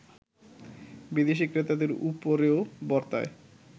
বিদেশি ক্রেতাদের উপরও বর্তায়